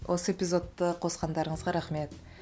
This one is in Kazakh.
осы эпизодты қосқандарыңызға рахмет